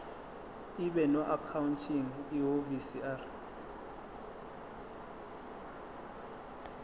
ibe noaccounting ihhovisir